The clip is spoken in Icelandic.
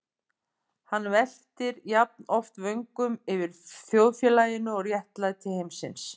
Hann veltir jafnoft vöngum yfir þjóðfélaginu og réttlæti heimsins.